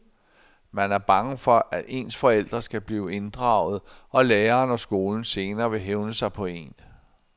Man er bange for, at ens forældre skal blive inddraget, og læreren og skolen senere vil hævne sig på en.